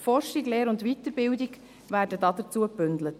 Forschung, Lehre und Weiterbildung werden dazu gebündelt.